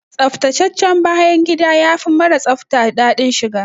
Tsaftataccen bayan gida yafi mara tsafta daɗin shiga.